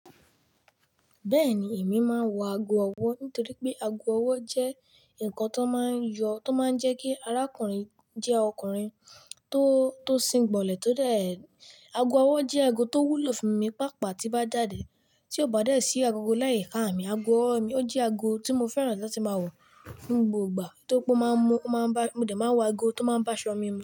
Bẹ́ẹ̀ni, èmi máa ń wọ ago ọwọ́ nítorí pé ago ọwọ́ jẹ́ nǹkan tan máa ń yọ, tó máa ń jẹ́ kí arákùnrin jẹ́ ọkùnrin tó, tó sìn gbọ̀lẹ̀, tó dẹ̀ Ago ọwọ́ jẹ́ ago tó wúlò fún mi, pàápàá tí bá jáde, tí ò bá dẹ̀ sí agogo láì ka mi, ago ọwọ́ mi ó jẹ́ ago tí mo fẹ́ràn láti máa wọ̀ ní gbogbo ìgbà, nítorí pé ó máa ń mú, ó máa ń bá mi, mo dẹ̀ máa wọ ago tó máa ń báṣọ̀ mí mu.